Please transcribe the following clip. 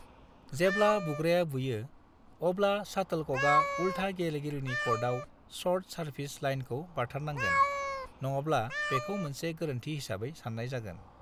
जेब्ला बुग्राया बुयो, अब्ला शाटोलकका उल्था गेलेगिरिनि क'र्टआव शर्ट सार्भिस लाइनखौ बारथारनांगोन, नङाब्ला बेखौ मोनसे गोरोन्थि हिसाबै सान्नाय जागोन।